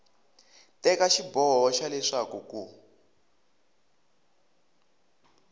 teka xiboho xa leswaku ku